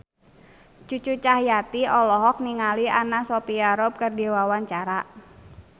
Cucu Cahyati olohok ningali Anna Sophia Robb keur diwawancara